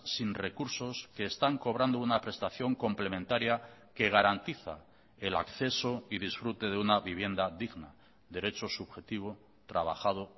sin recursos que están cobrando una prestación complementaria que garantiza el acceso y disfrute de una vivienda digna derecho subjetivo trabajado